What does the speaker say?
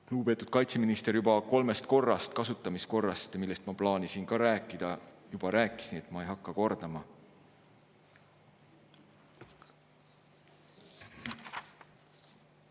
Lugupeetud kaitseminister kolmest kasutamiskorrast, millest ma plaanisin rääkida, juba rääkis, ma ei hakka seda kordama.